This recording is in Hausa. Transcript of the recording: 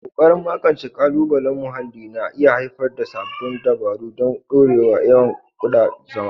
Ƙoƙarin magance ƙalubalen muhalli na iya haifar da sabbin dabaru don ɗorewar yawan kuɗan zuma.